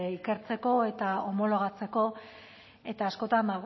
ikertzeko eta homologatzeko eta askotan